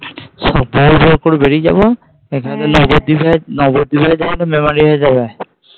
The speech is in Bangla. করে বেরিয়ে যাবো। নবদ্বীপ নবদ্বীপ হয়ে যাবে না মেমারি হয়ে যাবে?